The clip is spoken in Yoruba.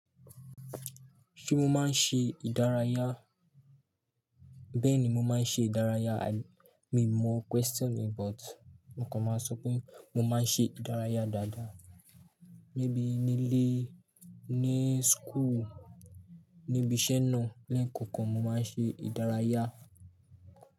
Ṣé mo máa ń ṣe ìdárayá? Bẹ́ẹ̀ni, mo máa ń ṣe ìdárayá. Mi ò mọ question but nǹkan máa ń sọ pé mo máa ń ṣe ìdárayá dáadáa. Níbí nílé, ní school, níbi iṣẹ́ náà, ní ẹ̀kọ̀ọ̀kan mo máa ń ṣe ìdárayá.